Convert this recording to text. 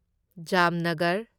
Jamnagar